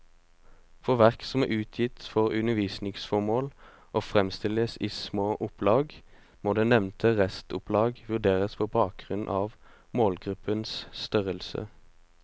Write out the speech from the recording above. For verk som er utgitt for undervisningsformål og fremstilles i små opplag, må det nevnte restopplag vurderes på bakgrunn av målgruppens størrelse.